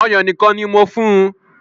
Ọ̀yàn nìkan ni mo fún un